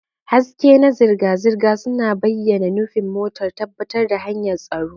Haske na zirga-zirga suna bayyana nufin motar, tabbatar da hanyar tsaro.